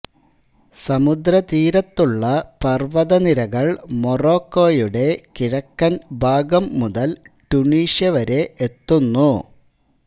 സമുദ്രതീരത്തുള്ള പർവതനിരകൾ മൊറോക്കോയുടെ കിഴക്കൻ ഭാഗം മുതൽ ട്യുണീഷ്യവരെ എത്തുന്നു